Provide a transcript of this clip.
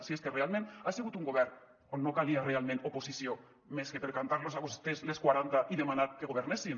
si és que realment ha segut un govern on no calia realment oposició més que per cantar los a vostès les quaranta i demanar que governessin